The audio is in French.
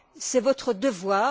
C'est votre devoir.